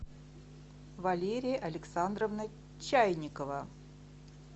валерия александровна чайникова